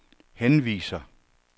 henviser